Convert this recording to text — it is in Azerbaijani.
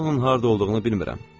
Mən onun harda olduğunu bilmirəm.